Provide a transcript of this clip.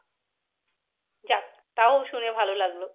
যাক তাও শুনে ভালো লাগলো।